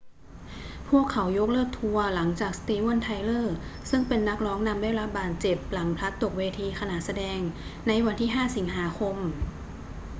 พวกเขายกเลิกทัวร์หลังจากสตีเวน ไทเลอร์ ซึ่งเป็นนักร้องนำได้รับบาดเจ็บหลังพลัดตกเวทีขณะแสดงในวันที่ 5 สิงหาคม